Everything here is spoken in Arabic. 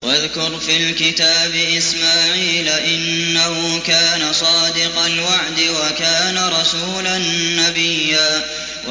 وَاذْكُرْ فِي الْكِتَابِ إِسْمَاعِيلَ ۚ إِنَّهُ كَانَ صَادِقَ الْوَعْدِ وَكَانَ رَسُولًا نَّبِيًّا